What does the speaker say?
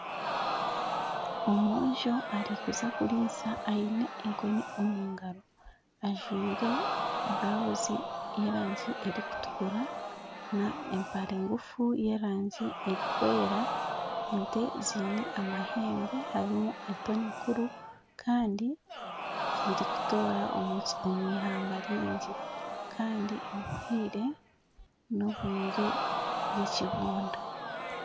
Omwojo arikuza kuriisa ayine enkoni omungaro. Ajwire burawuzu ye rangi erikutukura na empare ngufu yerangi erikwera. Ente zeine amahembe harimu ento n'enkuru Kandi zirikutoora omwihamba ryingi Kandi obwire n'obwire bwekibunda.